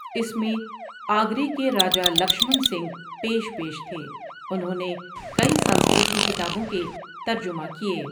اس میں آگرے کے راجا لکشمن سنگھ پیش پیش تھے انہوں نے کئی سنسکرت کی کتابوں کے ترجمہ کیے ۔